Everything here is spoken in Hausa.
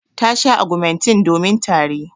Ta sha augmentin domin tari.